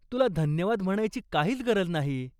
तुला धन्यवाद म्हणायची काहीच गरज नाही.